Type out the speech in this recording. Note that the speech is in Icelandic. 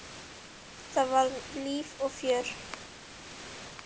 Það var líf og fjör.